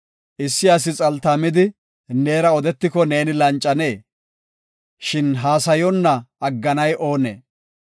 “Issi asi xaltaamidi neera odetiko neeni lancanee? Shin haasayonna agganay oonee?